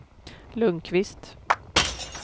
Lundkvist